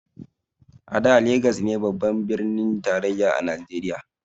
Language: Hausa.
A da Legas ne babban birnin tarayya na najeriya